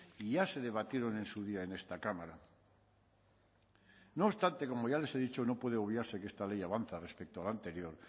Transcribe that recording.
y ya se debatieron en su día en esta cámara no obstante como ya les he dicho no puede obviarse que esta ley avanza respecto al anterior